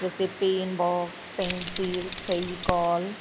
जैसे pen box pencils Fevicol --